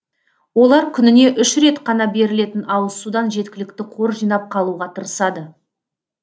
олар күніне үш рет қана берілетін ауызсудан жеткілікті қор жинап қалуға тырысады